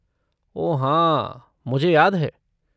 ओह हाँ, मुझे याद है।